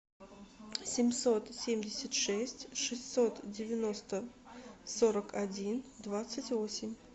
семьсот семьдесят шесть шестьсот девяносто сорок один двадцать восемь